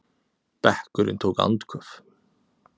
Bekkurinn tók andköf.